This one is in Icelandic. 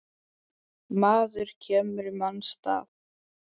Maður kemur í manns stað.